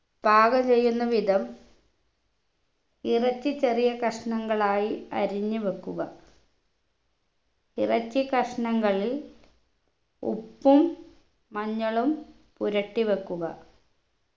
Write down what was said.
പാകം ചെയ്യുന്ന വിധം ഇറച്ചി ചെറിയ കഷ്ണങ്ങളായി അരിഞ്ഞ് വെക്കുക ഇറച്ചി കഷ്ണങ്ങളിൽ ഉപ്പും മഞ്ഞളും പുരട്ടി വെക്കുക